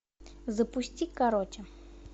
запусти короче